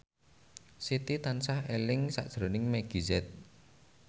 Siti tansah eling sakjroning Meggie Z